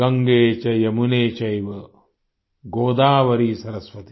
गंगे च यमुने चैव गोदावरी सरस्वति